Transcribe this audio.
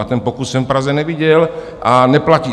A ten pokus jsem v Praze neviděl a neplatí.